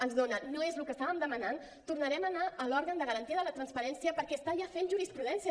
ens donen no és el que estàvem demanant tornarem a anar a l’òrgan de garantia de la transparència perquè està ja fent jurisprudència